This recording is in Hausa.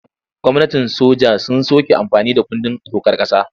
Gwamnatin soja sun soke amfani da kundin dokar ƙasa.